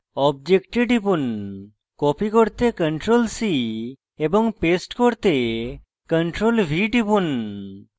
object টিপুন copy করতে ctrl + c এবং paste করতে ctrl + v টিপুন